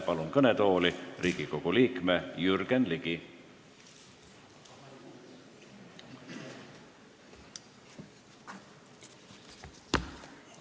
Palun kõnetooli Riigikogu liikme Jürgen Ligi!